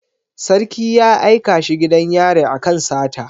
Sarki ya aika shi gidan yari akan sata